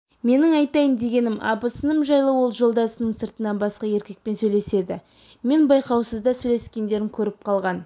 менің айтайын дегенім абысыным жайлы ол жолдасының сыртынан басқа еркекпен сөйлеседі мен байқаусызда сөйлескендерін көріп қалған